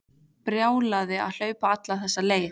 Brjálæði að hlaupa alla þessa leið.